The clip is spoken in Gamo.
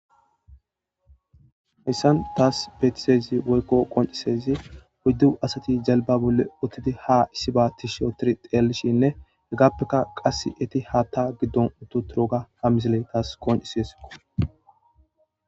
Hayssan taas beetizayssi woyko qonccisizay oydu asati jelba bolla uttidi haa issiba tishi otidi xeelishinne hegapeka qase eeti haata gidon utti uttidoga ha misiley taas qonccises.